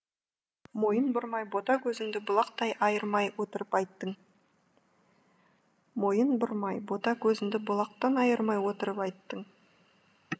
мойын бұрмай бота көзіңді бұлақтай айырмай отырып айттың мойын бұрмай бота көзіңді бұлақтан айырмай отырып айттың